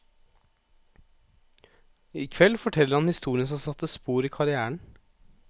I kveld forteller han historien som satte spor i karrièren.